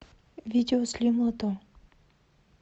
видео слим лото